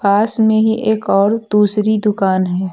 पास में ही एक और दूसरी दुकान है।